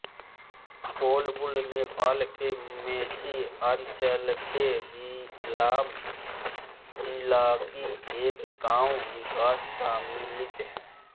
कोल्बुङ नेपालके मेची अंचलके इलाम जिलाकी एक गाँव विकास समिति है